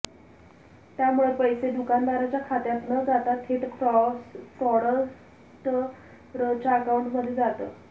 त्यामुळे पैसे दुकानदाराच्या खात्यात न जाता थेट फ्रॉडस्टरच्या अकाऊंटमध्ये जातं